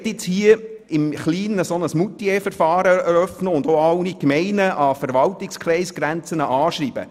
Man möchte hier im Kleinen ein «Moutier-Verfahren» eröffnen und alle Gemeinden, die an Verwaltungskreisgrenzen liegen, anschreiben.